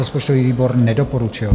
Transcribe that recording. Rozpočtový výbor nedoporučil.